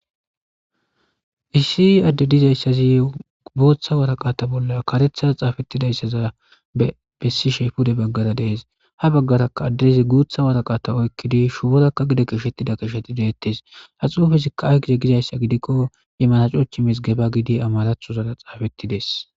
Issi adde dizayssazi gooththa waraqata bolla karethaza xaafettidayssaza bessi sheefude baggara dees ha baggaraka addezi guutha waraqata oykkidi shuborakka gida kishettida kisheti deettes haxuufizika aygize gizayssa gidikko imanacochi misgeba gidi amarathozara xaafettides.